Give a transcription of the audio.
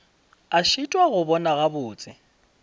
a šitwa go bona gabotse